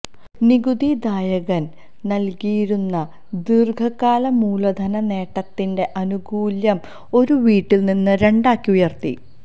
നികുതി ദായകന് നല്കിയിരുന്ന ദീര്ഘകാല മൂലധന നേട്ടത്തിന്റെ ആനുകൂല്യം ഒരു വീടില് നിന്ന് രണ്ടാക്കി ഉയര്ത്തി